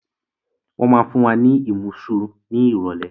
Wọn máa fún wa ní imusu ni irọ̀lẹ́